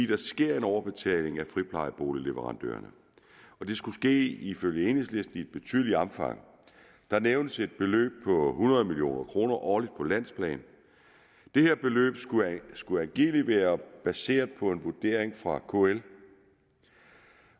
der sker overbetaling af friplejeboligleverandørerne og det skulle ifølge enhedslisten ske i et betydeligt omfang der nævnes et beløb på hundrede million kroner årligt på landsplan det her beløb skulle angiveligt være baseret på en vurdering fra kl